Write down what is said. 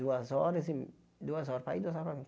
Duas horas e... Duas horas para ir, duas horas para